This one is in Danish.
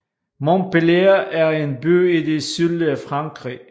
Montpellier er en by i det sydlige Frankrig